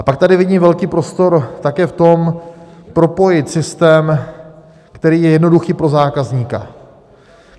A pak tady vidím velký prostor také v tom, propojit systém, který je jednoduchý pro zákazníka.